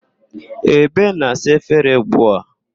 Ebe na-asa efere ugbu a.